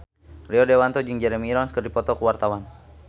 Rio Dewanto jeung Jeremy Irons keur dipoto ku wartawan